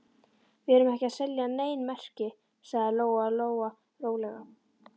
Við erum ekki að selja nein merki, sagði Lóa Lóa rólega.